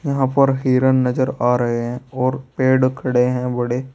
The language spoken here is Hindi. वहां पर हिरन नजर आ रहे हैं और पेड़ खड़े हैं बड़े।